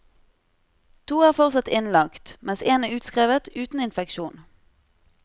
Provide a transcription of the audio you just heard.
To er fortsatt innlagt, mens én er utskrevet uten infeksjon.